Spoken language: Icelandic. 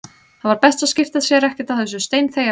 Það var best að skipta sér ekkert af þessu, steinþegja bara.